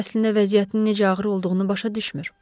O, əslində vəziyyətinin necə ağır olduğunu başa düşmür.